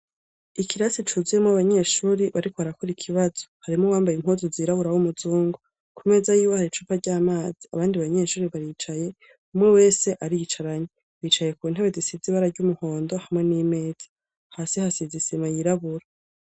Ikirasi cuzuyemwo abanyeshuri bariko barakura ikibazo harimo wambaye impuzu zirabura abo umuzungo ku meza yiwe hari icupa ry'amazi abandi banyeshuri baricaye umwe wese aricaranyi bicaye ku ntebe disizi bara ry'umuhondo hamwe n'imeza hasi hasi izisima yirabura.